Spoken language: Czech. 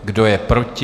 Kdo je proti?